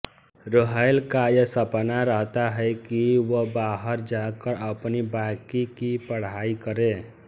रोहैल का यह सपना रहता है कि वह बाहर जाकर अपनी बाकी की पढ़ाई करे